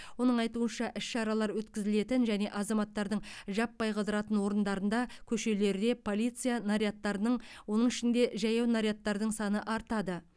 оның айтуынша іс шаралар өткізілетін және азаматтардың жаппай қыдыратын орындарында көшелерде полиция нарядтарының оның ішінде жаяу нарядтардың саны артады